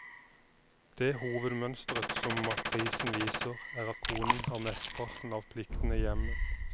Det hovedmønstret som matrisen viser, er at konen har mesteparten av pliktene i hjemmet.